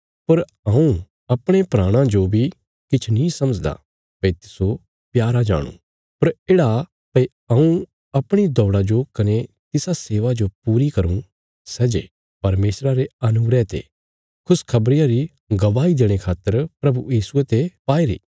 पर हऊँ अपणे प्राणां जो बी किछ नीं समझदा भई तिस्सो प्यारा जाणुं पर येढ़ा भई हऊँ अपणी दौड़ा जो कने तिसा सेवा जो पूरी करूँ सै जे परमेशरा रे अनुग्रह ते खुशखबरिया री गवाही देणे खातर प्रभु यीशुये ते पाईरी